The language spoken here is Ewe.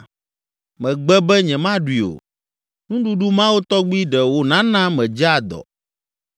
Megbe be nyemaɖui o, nuɖuɖu mawo tɔgbi ɖe wònana medzea dɔ.